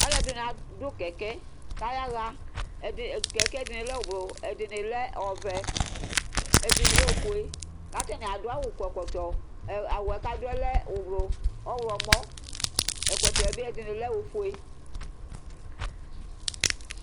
Alu ɛɖɩŋɩ aɖʊ ƙɛƙɛ ƙaƴaha Ƙɛƙɛ ɖɩŋɩ lɛ ɔwlu ɛɖɩŋɩ lɛ ɔʋɛ, ɛɖɩŋɩ lɛ oƒoé Awu ƙatani aɖʊ, ƙɔ ɛƙɔtɔ Awʊ ƙaɖʊɛ ɔle ɔwlʊ ɔwlomɔ, ɛƙɔtɔɛ ɓɩ ɛɖɩŋɩ lɛ oƒoé